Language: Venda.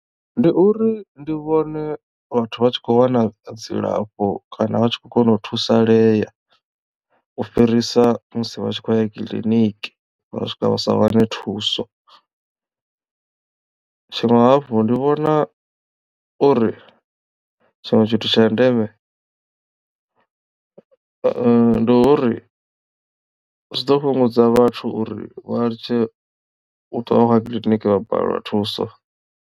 Ndi uri ndi vhone vhathu vha tshi kho wana dzilafho kana vha tshi khou kona u thusalea u fhirisa musi vha tshi khou ya kiḽiniki vha swika vha sa wane thuso. Tshiṅwe hafhu ndi vhona uri tshiṅwe tshithu tsha ndeme ndi uri zwi ḓo fhungudza vhathu uri vha litshe u ṱwa vha khou ya kiḽiniki vha balelwa thuso.